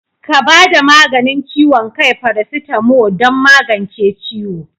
Ka bada maganin ciwon kai"paracetamo" don magance ciwo.